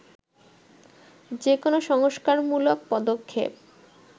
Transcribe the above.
যে কোনো সংস্কারমূলক পদক্ষেপ